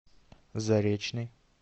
заречный